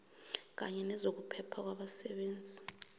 kanye nezokuphepha kwabasebenzi